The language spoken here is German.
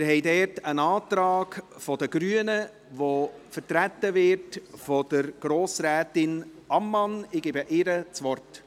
Dazu haben wir einen Antrag der Grünen, der von Grossrätin Ammann vertreten wird.